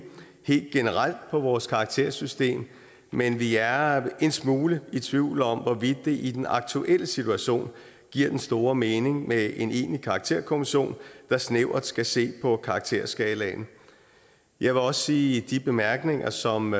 helt generelt på vores karaktersystem men vi er en smule i tvivl om hvorvidt det i den aktuelle situation giver den store mening med en egentlig karakterkommission der snævert skal se på karakterskalaen jeg vil også sige de bemærkninger som